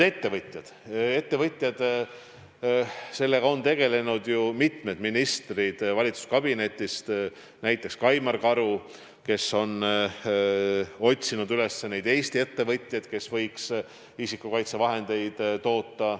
Ettevõtete küsimusega on tegelenud ju mitmed ministrid valitsuskabinetist, näiteks Kaimar Karu, kes on otsinud üles Eesti ettevõtjaid, kes võiks isikukaitsevahendeid toota.